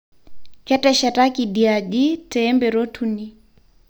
Keteshataki idia aji teemperot uni